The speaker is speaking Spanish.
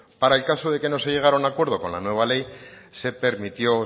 para el caso de que no se llegara a acuerdo con la nueva ley se permitió o